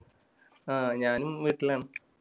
ആ ഞാനും വീട്ടിലാണ്.